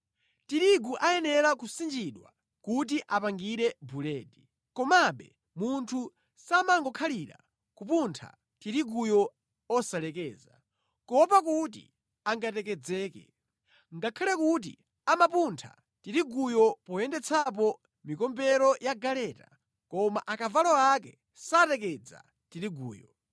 Tirigu ayenera kusinjidwa kuti apangire buledi, komabe munthu samangokhalira kupuntha tiriguyo osalekeza, kuopa kuti angatekedzeke. Ngakhale kuti amapuntha tiriguyo poyendetsapo mikombero ya galeta, koma akavalo ake satekedza tiriguyo.